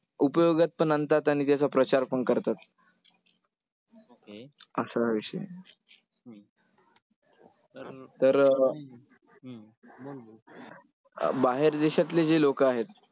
उपयोगात पण आणतात आणि त्याचा प्रचार पण करतात. असा हा विषय. तर अं बाहेर देशातले जे लोकं आहेत,